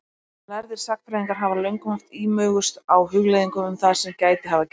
Lærðir sagnfræðingar hafa löngum haft ímugust á hugleiðingum um það sem gæti hafa gerst.